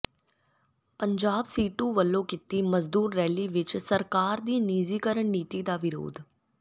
ਪੰਜਾਬ ਸੀਟੂ ਵਲੋਂ ਕੀਤੀ ਮਜਦੂਰ ਰੈਲੀ ਵਿੱਚ ਸਰਕਾਰ ਦੀ ਨਿਜੀਕਰਨ ਨੀਤੀ ਦਾ ਵਿਰੋਧ